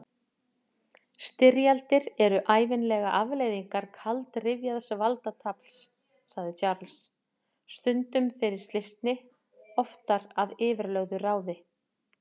Styrjaldir eru ævinlega afleiðingar kaldrifjaðs valdatafls, sagði Charles, stundum fyrir slysni, oftar að yfirlögðu ráði.